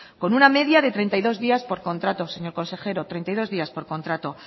con una media de treinta y dos días por contrato señor consejero treinta y dos días por contrato